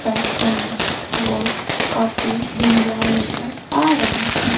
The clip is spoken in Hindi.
पर हमें वो काफी धुंधला नजर आ रहा है।